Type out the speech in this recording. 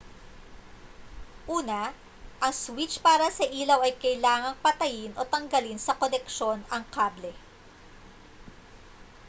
una ang switch para sa ilaw ay kailangang patayin o tanggalin sa koneksyon ang kable